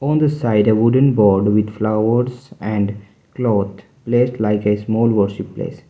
on the side a wooden board with flowers and cloth placed like a small worship place.